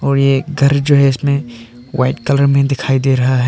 और ये घर जो है इसमें वाइट कलर में दिखाई दे रहा है।